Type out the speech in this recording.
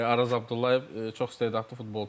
Araz Abdullayev çox istedadlı futbolçu idi.